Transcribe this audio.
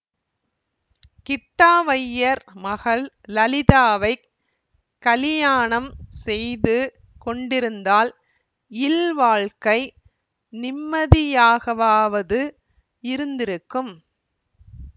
கிட்டாவய்யர் மகள் லலிதாவைக் கலியாணம் செய்து கொண்டிருந்தால் இல்வாழ்க்கை நிம்மதியாகவாவது இருந்திருக்கும்